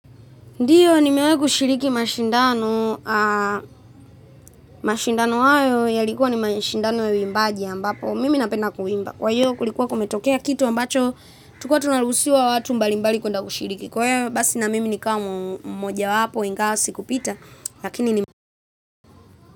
Ndio, nimewai kushiriki mashindano, mashindano hayo yalikuwa ni mashindano ya uimbaji ambapo, mimi napenda kuimba. Kwa hio kulikuwa kumetokea kitu ambacho, tukuwa tunaruhusiwa watu mbalimbali kuenda kushiriki. Kwa hiyo basi na mimi nikawa mmoja wapo, ingawa sikupita lakini,